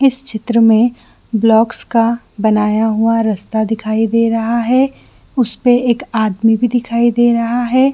इस चित्र में ब्लॉकस का बनाया हुआ रास्ता दिखई दे रहा है उस पे एक आदमी भी दिखाई दे रहा है।